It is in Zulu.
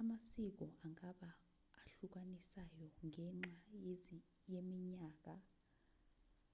amasiko angaba ahlukanisayo ngenxa yeminyaka